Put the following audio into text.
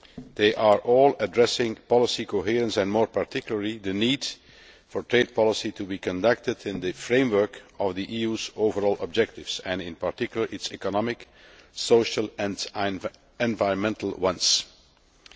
They all address policy coherence and, more particularly, the need for trade policy to be conducted in the framework of the EU's overall objectives, in particular its economic, social and environmental objectives.